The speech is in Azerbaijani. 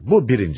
Bu birincisi.